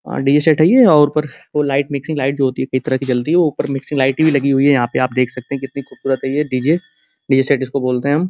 और D J set है ये और ऊपर वो लाइट मिक्सिंग लाइट जो होती है कई तरह की जलती है वो ऊपर मिक्सिंग लाइट भी लगी हुई है यहाँ पे आप देख सकते हैं कितनी खूबसूरत है ये डी जे डीजे सेट इसको बोलते है हम।